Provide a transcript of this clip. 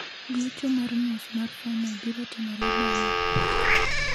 Gocho mar nus mar fainol biro timore bang'e wuok tich.